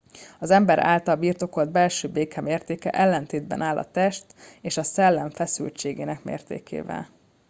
az ember által birtokolt belső béke mértéke ellentétben áll a test és a szellem feszültségének mértékével